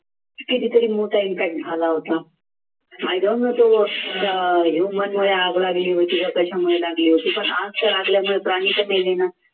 कितीतरी मोठा impact झाला होता आग लागली होती की कशामध्ये लागली होती पण आज तर